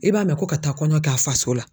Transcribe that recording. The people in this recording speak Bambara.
I b'a mɛn ko ka taa kɔɲɔ kɛ a faso la.